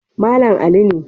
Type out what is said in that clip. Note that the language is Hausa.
Malam Ali ne.